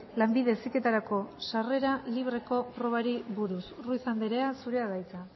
lanbide heziketarako sarrera libreko probari buruz ruiz anderea zurea da hitza